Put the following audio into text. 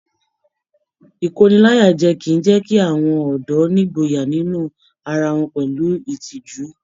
Ikóníláyàjẹ̀ kìí jẹ kí àwọn ọdọ nígboyà nínú ará wọn pẹlú ìtìjú.